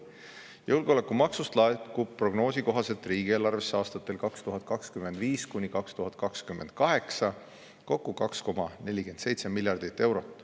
Julgeolekumaksust laekub prognoosi kohaselt riigieelarvesse aastatel 2025–2028 kokku 2,47 miljardit eurot.